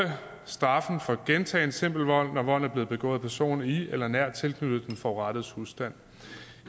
straffet for gentagen simpel vold når volden er blevet begået af personer i eller nært tilknyttet den forurettedes husstand